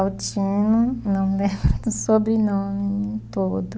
Altino, não lembro do sobrenome todo.